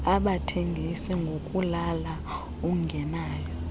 abathengis ngokulala ungenayo